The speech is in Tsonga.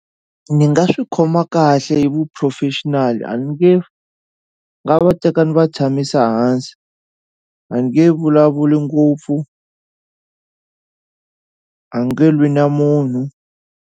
Ni nga swi khoma kahle hi vu-professional a ni nge nga va teka ni va tshamisa hansi a nge vulavuli ngopfu a nge lwi na munhu.